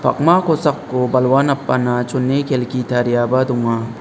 p akma kosako balwa napana chone kelki tariaba donga.